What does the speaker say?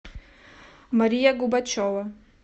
мария губачева